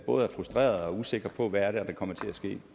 både er frustrerede og usikre på hvad det er der kommer til at ske